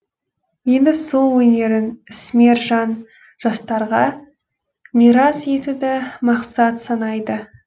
енді сол өнерін ісмер жан жастарға мирас етуді мақсат санайды